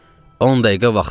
10 dəqiqə vaxtın var.